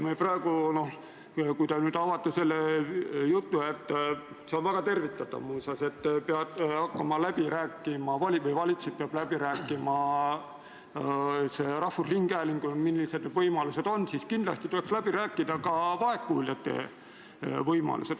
Kui te nüüd avate need kõnelused – see on väga tervitatav muuseas, et valitsus hakkab rahvusringhäälinguga läbi rääkima, millised võimalused on –, siis kindlasti tuleks läbi rääkida ka vaegkuuljate võimalused.